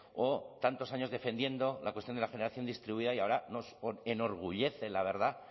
o tantos años defendiendo la cuestión de la generación distribuida y ahora nos enorgullece la verdad